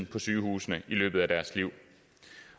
på sygehusene i løbet af deres liv